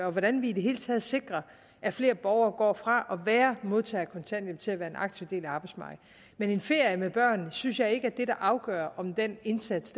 og hvordan vi i det hele taget sikrer at flere borgere går fra at være modtagere af kontanthjælp til at være en aktiv del af arbejdsmarkedet men en ferie med børnene synes jeg ikke er det der afgør om den indsats